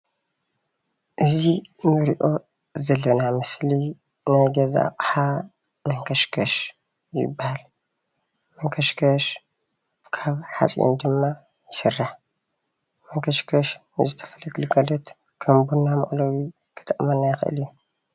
እዚ እንሪኦ ዘለና ኣብ ምስሊ ናይ ገዛ ኣቅሓ መንከሽከሽ ይባሃል፡፡ መንከሽከሽ ካብ ሓፂን ድማ ይስራሕ፡፡ መንከሽከሽ ንዝተፈላለዩ ግልጋሎት ከም ቡና መቅለዊ ክጠቅመና ይክእል እዩ፡፡፡፡